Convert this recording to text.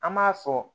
An m'a fɔ